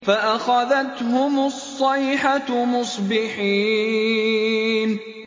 فَأَخَذَتْهُمُ الصَّيْحَةُ مُصْبِحِينَ